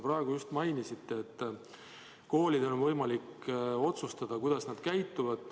Te just mainisite, et koolidel on võimalik otsustada, kuidas nad tegutsevad.